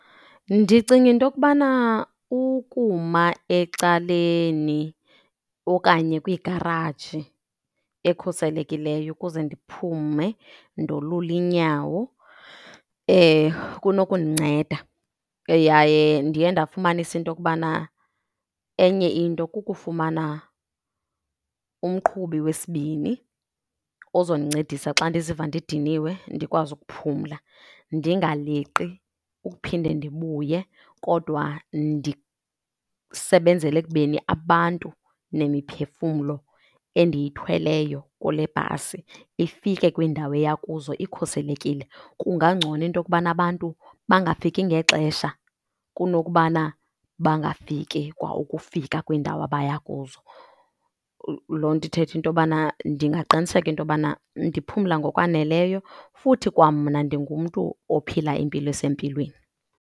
Ndicinga into kubana ukuma ecaleni okanye kwigaraji ekhuselekileyo ukuze ndiphume ndolule iinyawo kunokundinceda. Yaye ndiye ndafumanisa into kubana enye into kukufumana umqhubi wesibini ozondincedisa xa ndiziva ndidiniwe, ndikwazi ukuphumla. Ndingaleqi ukuphinde ndibuye kodwa ndisebenzele ekubeni abantu nemiphefumlo endiyithweleyo kule bhasi ifike kwiindawo eya kuzo ikhuselekile. Kungangcono into kubana abantu bangafiki ngexesha kunokubana bangafiki kwa ukufika kwiindawo abaya kuzo. Loo nto ithetha into yobana ndingaqiniseka into yobana ndiphumla ngokwaneleyo futhi kwamna ndingumntu ophila impilo esempilweni.